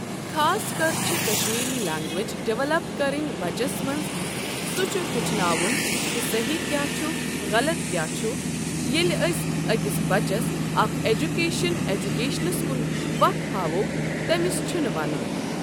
خاص کَر چھِ کَشمیٖری لیٚنٛگویج ڈیٚولَپ کَرٕنۍ بَچس منٛز سُہ چھُ ہٮ۪چھناوُن کہِ صحیٖح کیٛاہ چُھ غلط کیٛاہ چھُ ییٚلہِ أسۍ أکِس بَچس اکھ ایجوٗکیشَن ایٚجوٗکیشنَس کُن وَتھ ہاوو تٔمِس چُھ نہٕ وَنُن۔